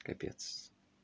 капец